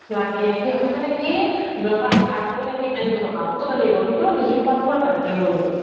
লাগে সিহতৰ মানে কি দৰকাৰ হলে ধাৰ কৰি আনিব টকা সোতত আনিব কিন্তু নিজৰ খোৱাটো বাৰু ভালকৈ কৰিব